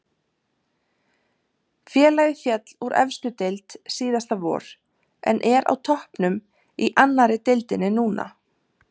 Félagið féll úr efstu deild síðasta vor en er á toppnum í annari deildinni núna.